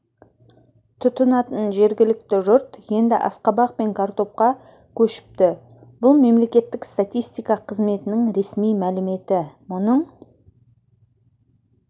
тұтынатын жергілікті жұрт енді асқабақ пен картопқа көшіпті бұл мемлекеттік статистика қызметінің ресми мәліметі мұның